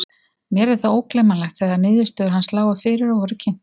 Mér er það ógleymanlegt þegar niðurstöður hans lágu fyrir og voru kynntar.